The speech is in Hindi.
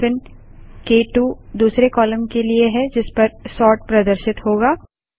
हाइफेन क2 दूसरे कालम के लिए है जिसपर सोर्ट प्रदर्शित होगा